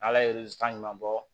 Ala ye san ɲuman bɔ